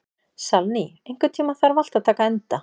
Salný, einhvern tímann þarf allt að taka enda.